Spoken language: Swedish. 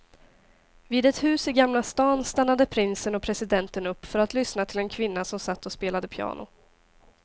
Vid ett hus i gamla stan stannade prinsen och presidenten upp för att lyssna till en kvinna som satt och spelade piano.